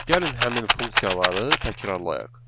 Gəlin həmin funksiyaları təkrarlayaq.